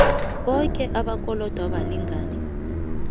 boke abakolodwa balingani